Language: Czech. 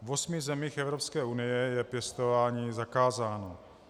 V osmi zemích Evropské unie je pěstování zakázáno.